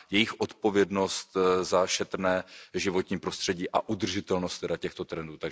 jejich odpovědností za šetrné životní prostředí a udržitelnost těchto trendů.